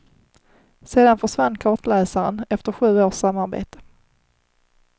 Sedan försvann kartläsaren, efter sju års samarbete.